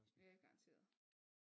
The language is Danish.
Ja garanteret